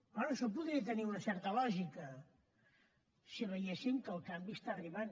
bé això podria tenir una certa lògica si veiéssim que el canvi arriba